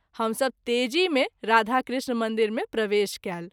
हम सभ तेज़ी मे राधा कृष्ण मंदिर मे प्रवेश कएल।